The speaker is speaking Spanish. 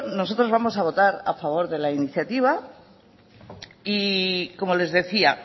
nosotros vamos a votar a favor de la iniciativa y como les decía